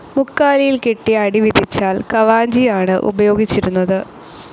മുക്കാലിയിൽ കെട്ടി അടി വിധിച്ചാൽ കവാഞ്ചിയാണ് ഉപയോഗിച്ചിരുന്നത്.